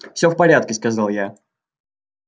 всё в порядке сказал я